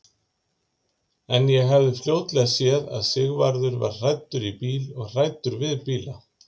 En ég hafði fljótlega séð að Sigvarður var hræddur í bíl og hræddur við bíla.